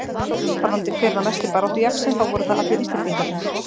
Varðandi hver var mesti baráttujaxlinn þá voru það allir Íslendingarnir.